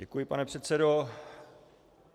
Děkuji, pane předsedo.